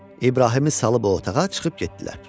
İbrahimi salıb o otağa çıxıb getdilər.